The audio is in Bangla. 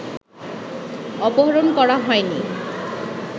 অপহরণ করা হয়নি